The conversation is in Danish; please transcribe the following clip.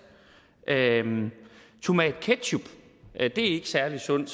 tomatketchup er ikke særlig sundt